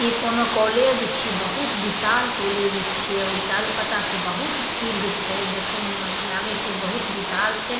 इ कउनो कॉलेज छी बहुत विशाल कॉलेज छिये और चरोकत्ता से बहुत फील्ड छे देखे में लागे छे बहुत विशाल छे।